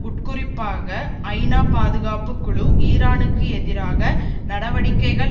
உட்குறிப்பாக ஐநா பாதுகாப்பு குழு ஈரானுக்கு எதிராக நடவடிக்கைகள்